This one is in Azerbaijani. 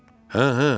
Hə, hə.